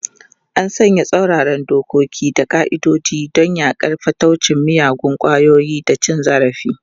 An sanya tsauraran dokoki da ƙa'idodi don yaƙar fataucin miyagun ƙwayoyi da cin zarafi.